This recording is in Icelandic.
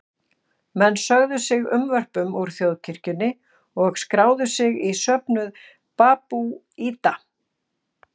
Menn sögðu sig unnvörpum úr þjóðkirkjunni og skráðu sig í söfnuð babúíta.